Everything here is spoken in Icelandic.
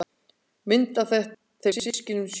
Mynd af þeim systkinunum sjö.